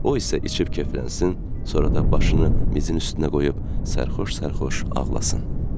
O isə içib keflənsin, sonra da başını mizin üstünə qoyub sərxoş-sərxoş ağlasın.